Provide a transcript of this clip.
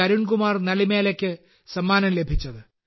അരുൺ കുമാർ നലിമേലക്ക് സമ്മാനം ലഭിച്ചത്